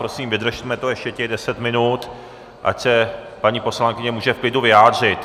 Prosím, vydržme to ještě těch deset minut, ať se paní poslankyně může v klidu vyjádřit.